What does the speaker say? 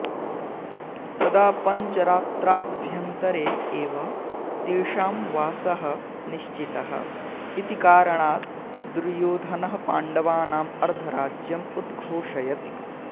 तदा पञ्चरात्राभ्यन्तरे एव तेषां वासः निश्चितः इति कारणात् दुर्योधनः पाण्डवानां अर्धराज्यं उद्घोषयति